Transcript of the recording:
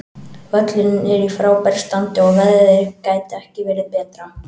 Völlurinn er í frábæru standi og veðrið gæti ekki verið betra.